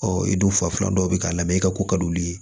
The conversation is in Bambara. i dun fa filan dɔ bɛ k'a la mɛ i ka ko ka d'olu ye